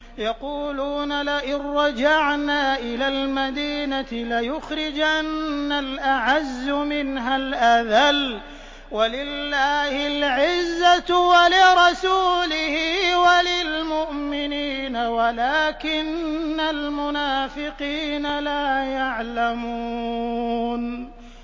يَقُولُونَ لَئِن رَّجَعْنَا إِلَى الْمَدِينَةِ لَيُخْرِجَنَّ الْأَعَزُّ مِنْهَا الْأَذَلَّ ۚ وَلِلَّهِ الْعِزَّةُ وَلِرَسُولِهِ وَلِلْمُؤْمِنِينَ وَلَٰكِنَّ الْمُنَافِقِينَ لَا يَعْلَمُونَ